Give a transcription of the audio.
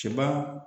Cɛb